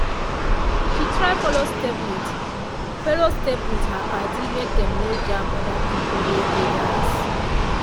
she try follow step with follow step with her padi make dem no jam other people wey dey dance.